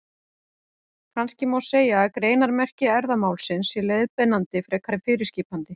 Kannski má segja að greinarmerki erfðamálsins séu leiðbeinandi frekar en fyrirskipandi.